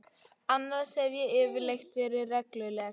Annars hef ég yfirleitt verið regluleg.